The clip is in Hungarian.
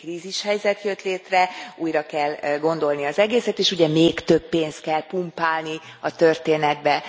Itt egy krízishelyzet jött létre, újra kell gondolni az egészet, és ugye még több pénzt kell pumpálni a történetbe.